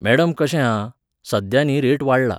Madam कशें आहा, सध्या न्ही रेट वाडला.